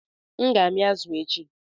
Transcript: M ga-amị azu echi